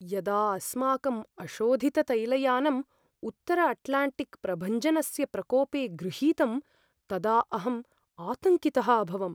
यदा अस्माकम् अशोधिततैलयानम् उत्तरअट्लाण्टिक्प्रभञ्जनस्य प्रकोपे गृहीतं तदा अहं आतङ्कितः अभवम्।